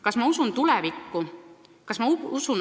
Kas ma usun tulevikku?